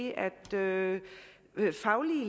jamen